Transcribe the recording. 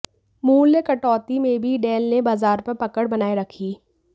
मूल्य कटौती में भी डेल ने बाजार पर पकड़ बनाए रखी